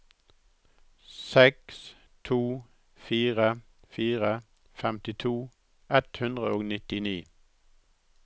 seks to fire fire femtito ett hundre og nittini